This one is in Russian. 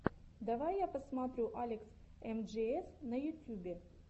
давай я посмотрю алекс эмджиэс на ютюбе